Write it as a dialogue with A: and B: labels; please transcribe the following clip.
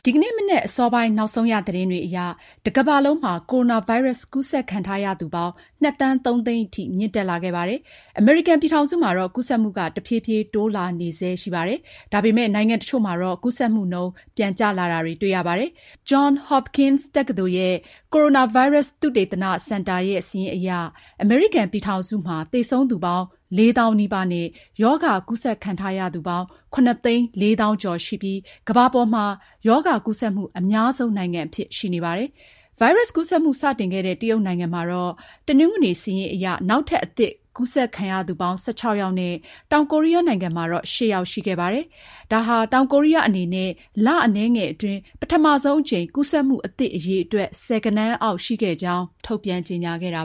A: ီကနေ့မနက်အစောပိုင်း နောက်ဆုံးရ သတင်းတွေအရ တကမ္ဘာလုံးမှာ ကိုရိုနာဗိုင်းရပ်စ် ကူးစက်ခံထားရသူပေါင်း ၂ ဒသမ ၃ သန်းထိ မြင့်တက်လာခဲ့ပါတယ်။ အမေရိကန်ပြည်ထောင်စုမှာတော့ ကူးစက်မှုက တဖြည်းဖြည်း တိုးလာနေဆဲ ရှိနေပါတယ်။ ဒါပေမယ့် နိုင်ငံတချို့မှာ ကူးစက်မှုနှုန်း ပြန်ကျလာတာ ရှိပါတယ်။ John Hopkins ကိုရိုနာဗိုင်းရပ်စ် သုတေသနစင်တာရဲ့ စာရင်းအရ အမေရိကန်ပြည်ထောင်စုမှာတော့ သေဆုံးသူပေါင်း ၄၀,၀၀၀ နီးပါးနဲ့ ရောဂါကူးစက်ခံထားရသူ ၇၄၃,၀၀၀ ရှိပြီး ကမ္ဘာပေါ်မှာ ဒီရောဂါကူးစက်မှု အများဆုံးနိုင်ငံအဖြစ် ရှိနေပါတယ်။ ဗိုင်းရပ်စ်ကူးစက်မှု စတင်ခဲ့တဲ့ တရုတ်နိုင်ငံမှာ တနင်္ဂနွေ စာရင်းအရ နောက်ထပ် အသစ်ကူးစက်ခံရသူပေါင်း ၁၆ ယောက်နဲ့ တောင်ကိုရီးယားနိုင်ငံမှာတော့ ၈ ယောက် ရှိခဲ့ပါတယ်။ တောင်ကိုရီးယားအနေနဲ့ လအနည်းငယ်အတွင်း ပထမဆုံးအကြိမ် ကူးစက်မှုအသစ် အရေအတွက် ဆယ်ဂဏန်းအောက် ရှိခဲ့ကြောင်း ထုတ်ပြန်ကြေညာ
B: ခဲ့တာ